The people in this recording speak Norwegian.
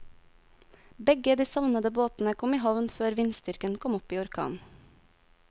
Begge de savnede båtene kom i havn før vindstyrken kom opp i orkan.